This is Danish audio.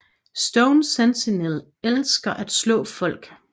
Stone Sentinel elsker at slå folk